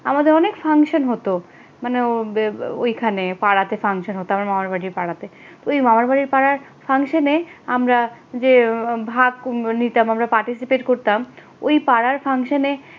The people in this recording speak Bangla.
আমাদের অনেক function হত মানে ওইখানে পাড়াতে ফাংশন হত আমার মামার বাড়ির পাড়াতে ওই মামার বাড়ির পাড়ার ফাংশানে আমরা যে ভাগ নিতাম আমরা পার্টিসিপেট করতাম ওই পাড়ার fuction